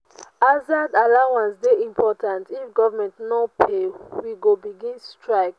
hazard allowance dey important if government no pay we go begin strike.